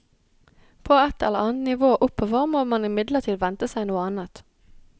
På ett eller annet nivå oppover må man imidlertid vente seg noe annet.